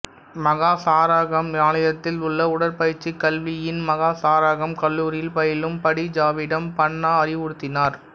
மஹா Sarakham மாநிலத்தில் உள்ள உடற்பயிற்சி கல்வியின் மஹா சாராகாம் கல்லூரியில் பயிலும் படி ஜாவிடம் பன்னா அறிவுறுத்தினார்